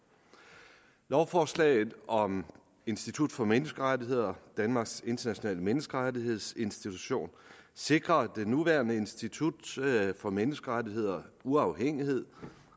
lovforslaget om institut for menneskerettigheder danmarks internationale menneskerettighedsinstitution sikrer det nuværende institut for menneskerettigheder uafhængighed